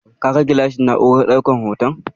Ka ga gilashin na'urar ɗaukan hoton?